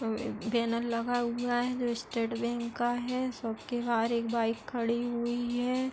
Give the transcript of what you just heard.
और ये बैनर लगा हुआ है जो स्टेट बैंक का है। शॉप के बाहर एक बाइक खड़ी हुई है।